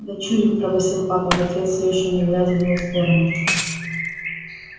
дочурик пробасил папа в ответ всё ещё не глядя в мою сторону